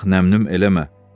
Bax nəm-nüm eləmə.